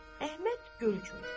Əhməd Gölçü.